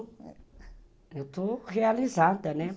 Eu estou realizada, né?